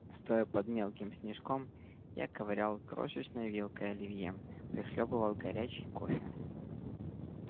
стоя под мелким снежком я ковырял крошечной вилкой оливье прихлёбывал горячий кофе